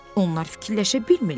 Onlar fikirləşə bilmirlər.